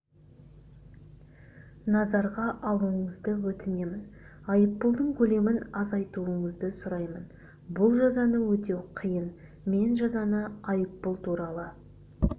назарға алуыңызды өтінемін айыппұлдың көлемін азайтуыңызды сұраймын бұл жазаны өтеу қиын мен жазаны айыппұл туралы